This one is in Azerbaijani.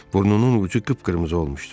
Burnunun ucu qıpqırmızı olmuşdu.